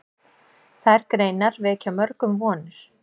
Þær greinar vekja mörgum vonir.